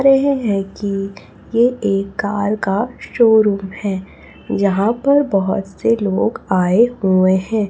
रहे है कि ये एक कार का शोरूम हैं जहां पर बहोत से लोग आए हुए हैं।